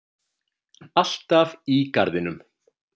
Alltaf í garðinum.